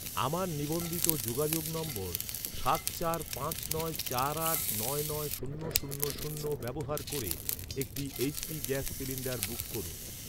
আমার নিবন্ধিত যোগাযোগ নম্বর সাত চার পাঁচ নয় চার আট নয় নয় শূন্য শূন্য শূন্য ব্যবহার করে একটি এইচ.পি গ্যাস সিলিন্ডার বুক করুন।